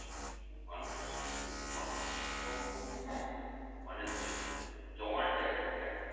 কত মানুষ প্রচুর মানুষজন এবং খুব মানুষজন। জমাট জায়গা একদম।